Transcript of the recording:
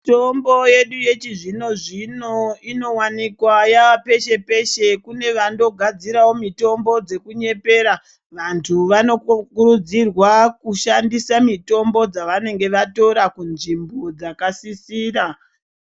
Mitombo yedu yechizvino-zvino inovanika yapeshe-peshe, kune vandogadziravo mitombo dzekunyepera. Vantu vanokurudzirwa kushandisa mitombo dzavanenge vatora kunzvimbo dzakasisira.